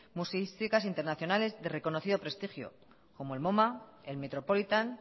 museísticas internacionales de reconocido prestigio como el moma el metropolitan